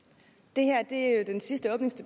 det